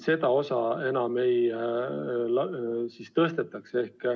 Seda osa me enam ei löö.